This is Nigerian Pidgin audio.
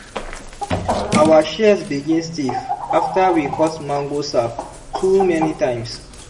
our shears begin stiff after we cut mango sap too many times.